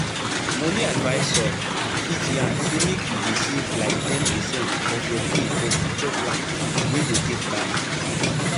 money advisor fit yarn say make you dey save like ten percent of your pay for future plans wey go take time.